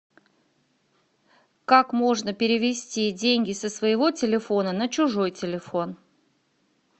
как можно перевести деньги со своего телефона на чужой телефон